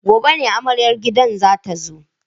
Gobe ne amaryar gidan za ta zo.